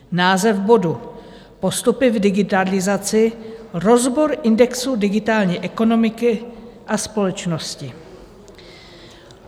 Název bodu: Postupy v digitalizaci, rozbor indexu digitální ekonomiky a společnosti.